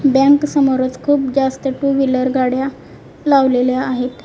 Bank समोरच खूप जास्त टू व्हीलर गाड्या लावलेल्या आहेत.